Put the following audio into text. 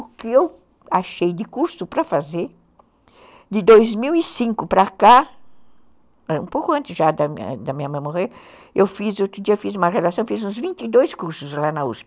O que eu achei de curso para fazer, de dois mil e cinco para cá, um pouco antes já da minha mãe morrer, eu fiz, outro dia fiz uma relação, fiz uns vinte e dois cursos lá na uspe